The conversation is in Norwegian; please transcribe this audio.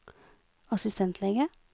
assistentlege